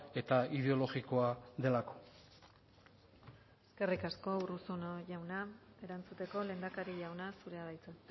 eta ideologikoa delako eskerrik asko erantzuteko lehendakari jauna zurea da hitza